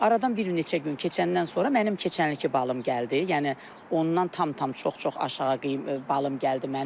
Aradan bir neçə gün keçəndən sonra mənim keçənilki balım gəldi, yəni ondan tam-tam çox-çox aşağı balım gəldi mənim.